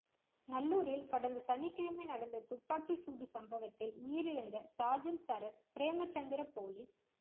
நல்லூரில் கடந்த சனிக்கிழமை நடந்த துப்பாக்கிச் சூட்டுச் சம்பவத்தில் உயிரிழந்த சார்ஜன்ட் சரத் பிறேமச்சந்திர பொலிஸ்